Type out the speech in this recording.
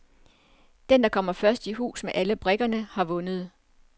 Den, der først kommer i hus med alle brikkerne, har vundet.